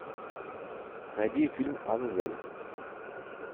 найди фильм азазель